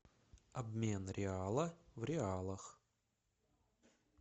обмен реала в реалах